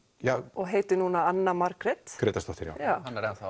og heitir núna Anna Margrét Grétarsdóttir hann er enn þá